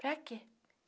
Para quê?